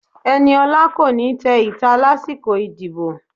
Eniola ko ni té ita lasikọ ìdíbò